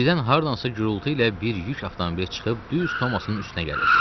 Birdən hardansa gurultu ilə bir yük avtomobili çıxıb düz Thomasın üstünə gəlirdi.